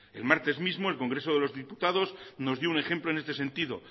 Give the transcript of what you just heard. el martes mismo el congreso de los diputado nos dio un ejemplo en este sentido